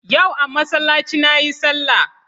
Yau a masallaci na yi salah